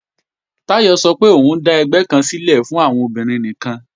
Táyọ̀ sọ pé òun ó dà ẹgbẹ́ kan sílẹ̀ fún àwọn obìnrin nìkan